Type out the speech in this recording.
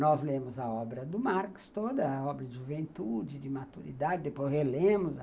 Nós lemos a obra do Marx, toda a obra de juventude, de maturidade, depois relemos a